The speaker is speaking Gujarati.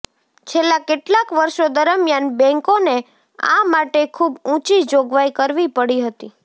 છેલ્લા કેટલાક વર્ષો દરમિયાન બેંકોને આ માટે ખૂબ ઊંચી જોગવાઈ કરવી પડી હતી